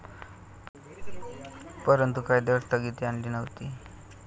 परंतु, कायद्यांवर स्थगितीली आणली नव्हती.